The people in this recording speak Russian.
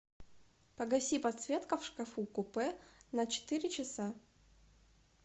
погаси подсветка в шкафу купе на четыре часа